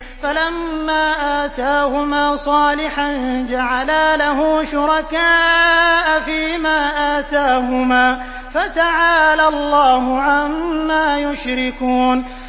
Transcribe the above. فَلَمَّا آتَاهُمَا صَالِحًا جَعَلَا لَهُ شُرَكَاءَ فِيمَا آتَاهُمَا ۚ فَتَعَالَى اللَّهُ عَمَّا يُشْرِكُونَ